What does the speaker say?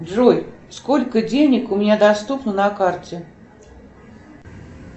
джой сколько денег у меня доступно на карте